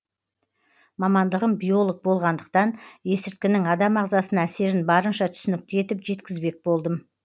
мамандығым биолог болғандықтан есірткінің адам ағзасына әсерін барынша түсінікті етіп жеткізбек болдым